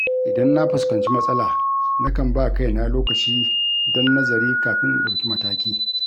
Idan na fuskanci matsala nakan ba kaina lokaci don nazari kafin in ɗauki mataki.